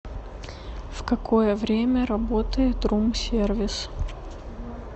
в какое время работает рум сервис